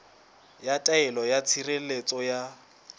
ya taelo ya tshireletso ya